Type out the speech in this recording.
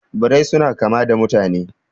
Birrai suna kama da mutane